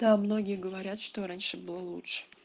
да многие говорят что раньше было лучше